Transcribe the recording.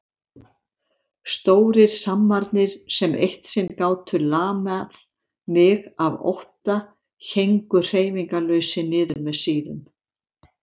Stórir hrammarnir sem eitt sinn gátu lamað mig af ótta héngu hreyfingarlausir niður með síðum.